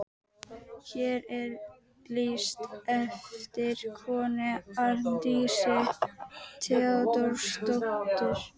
Hér er lýst eftir konu, Arndísi Theódórsdóttur.